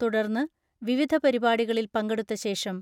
തുടർന്ന് വിവിധ പരിപാടികളിൽ പങ്കെടുത്ത ശേഷം